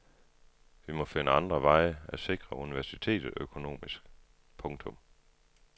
Vi må finde andre veje at sikre universitetet økonomisk. punktum